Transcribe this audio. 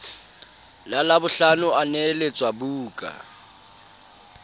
la labohlano a neheletswa buka